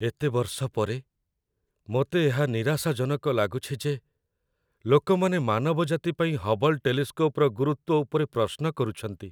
ଏତେ ବର୍ଷ ପରେ, ମୋତେ ଏହା ନିରାଶାଜନକ ଲାଗୁଛି ଯେ ଲୋକମାନେ ମାନବଜାତି ପାଇଁ ହବଲ୍ ଟେଲିସ୍କୋପ୍‌ର ଗୁରୁତ୍ୱ ଉପରେ ପ୍ରଶ୍ନ କରୁଛନ୍ତି।